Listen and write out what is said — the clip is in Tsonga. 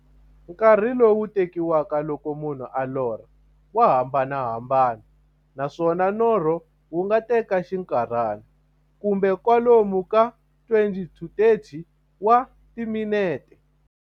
Nkarhi lowu tekiwaka loko munhu a lorha, wa hambanahambana, naswona norho wu nga teka xinkarhana, kumbe kwalomu ka 20-30 wa timinete.